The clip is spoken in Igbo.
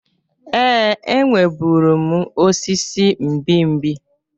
Ee, enwerebụrụ m osisi mgbimgbi.